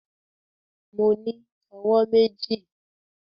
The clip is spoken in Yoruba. Mo ní owó méjì